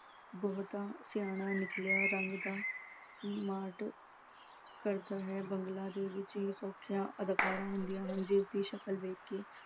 ਬਹੁਤਾ ਸਿਆਣਾ ਨਿਕਲਿਆ ਰੰਗ ਦਾ ਕਰਦਾ ਹੈ ਦੇ ਵਿੱਚ ਹੁੰਦੀਆਂ ਹਨ ਜਿਸ ਦੀ ਸ਼ਕਲ ਵੇਖ ਕੇ